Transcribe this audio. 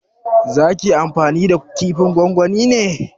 Za ki yi amfani da kifin gongoni ne?